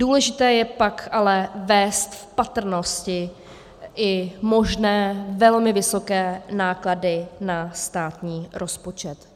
Důležité je pak ale vést v patrnosti i možné velmi vysoké náklady na státní rozpočet.